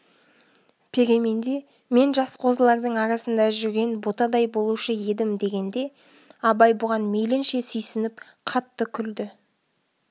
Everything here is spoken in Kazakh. переменде мен жас қозылардың арасында жүрген ботадай болушы едім дегенде абай бұған мейлінше сүйсініп қатты күлді